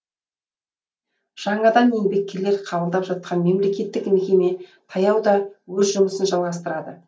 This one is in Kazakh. жаңадан еңбеккерлер қабылдап жатқан мемлекеттік мекеме таяуда өз жұмысын жалғастырады